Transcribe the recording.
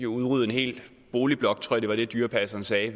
udrydde en hel boligblok tror jeg var det dyrepasseren sagde